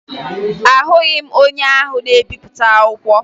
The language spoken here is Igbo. Ahụghị m onye ahụ na-ebipụta akwụkwọ